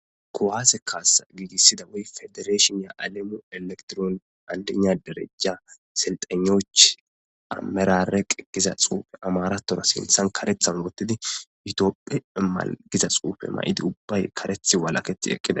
Kowaase kaasa giigissida wey federeeshin ya alemu elektron andina derejja selxanoch amerareq giza xuufe amaratora sinthan karethan gottidi yutiopphe malgiza xuufe ma7idi ubbay karethi walaketi eqqida.